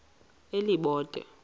elibode